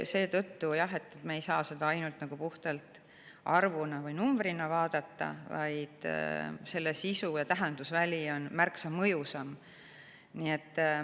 Seetõttu ei saa me seda ainult puhtalt arvuna vaadata, selle sisu ja tähendusväli on märksa mõjusam.